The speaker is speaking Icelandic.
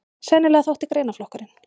Sennilega þótti greinaflokkurinn